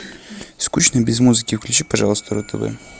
скучно без музыки включи пожалуйста ру тв